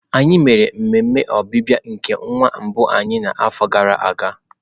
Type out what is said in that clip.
Anyị mere ememe ọbịbịa nke nwa mbụ anyị n'afọ gara aga.